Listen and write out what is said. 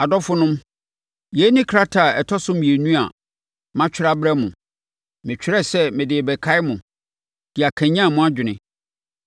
Adɔfonom, yei ne krataa a ɛtɔ so mmienu a matwerɛ abrɛ mo. Metwerɛɛ sɛ mede rebɛkae mo, de akanyane mo adwene.